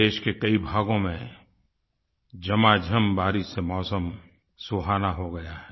देश के कई भागों में झमाझम बारिश से मौसम सुहाना हो गया है